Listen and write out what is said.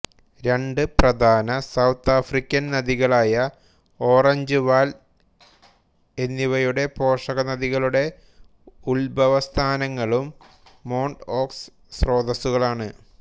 മറ്റ് രണ്ട് പ്രധാന സൌത്ത് ആഫ്രിക്കൻ നദികളായ ഓറഞ്ച് വാൽ എന്നിവയുടെ പോഷകനദികളുടെ ഉദ്ഭവസ്ഥാനങ്ങളും മോണ്ട്ഓക്സ് സ്രോതസ്സുകളാണ്